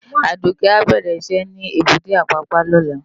Aduke á bèrè iṣè ni ébùté Apapa lòlá